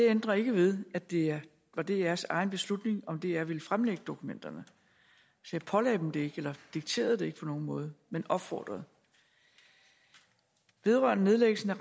det ændrer ikke ved at det var drs egen beslutning om dr ville fremlægge dokumenterne jeg pålagde dem det ikke og dikterede dem det ikke på nogen måde men opfordrede vedrørende nedlæggelsen af